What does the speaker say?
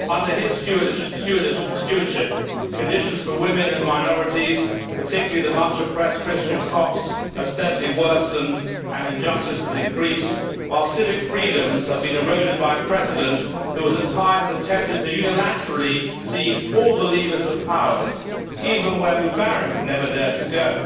Under his stewardship, conditions for women and minorities, particularly the much oppressed Christian Copts, have steadily worsened and injustice has increased, while civic freedoms have been eroded by a President who has at times attempted to unilaterally seize all the levers of power, even where Mubarak never dared to go.